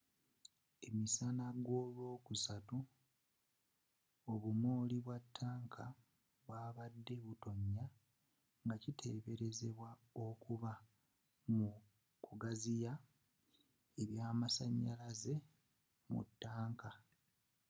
emisana golwokusatu obumooli bwa ttanka bwabadde butonya ngakiteberezebwa okuba mu kugaziya ebyamasanyalaze mu ttaanka